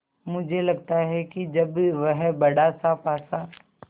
मुझे लगता है कि जब वह बड़ासा पासा